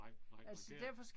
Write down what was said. Nej nej men der